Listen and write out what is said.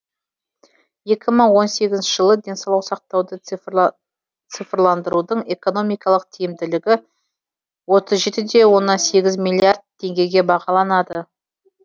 екі мың он сегізінші жылы денсаулық сақтауды цифрландырудың экономикалық тиімділігі отыз жетіде оннан сегіз миллиард теңгеге бағаланады